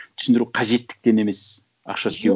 түсіндіру қажеттіктен емес ақша істеу